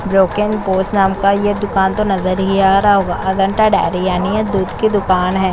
जो की नाम का ये दुकान तो नज़र ही आ रहा होगा अजंता डेरी यानी ये दूध की दुकान है।